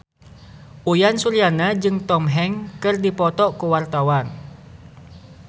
Uyan Suryana jeung Tom Hanks keur dipoto ku wartawan